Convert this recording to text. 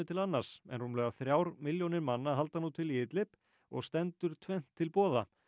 til annars en rúmlega þrjár milljónir manna halda nú til í í Idlib og stendur tvennt til boða